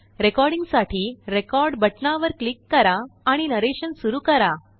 रेकॉर्डींगसाठी record बटनवर click करा आणि नरेशन सुरु करा